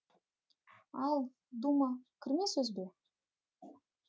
ал дума кірме сөз бе